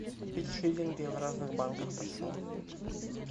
купить шиллинги в разных банках почем